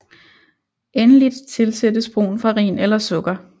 Endeligt tilsættes brun farin eller sukker